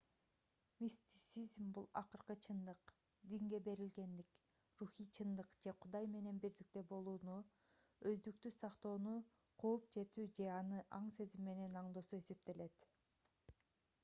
мистицизм бул акыркы чындык динге берилгендик рухий чындык же кудай менен бирдикте болууну өздүктү сактоону кууп жетүү же аны аң-сезим менен аңдоосу эсептелет